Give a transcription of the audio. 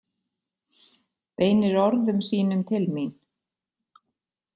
Beinir orðum sínum til mín.